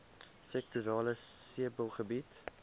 sektorale sebbeleid